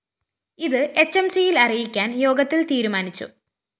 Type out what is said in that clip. ഇത് എച്ച്എംസിയില്‍ അറിയിക്കാന്‍ യോഗത്തില്‍ തീരുമാനിച്ചു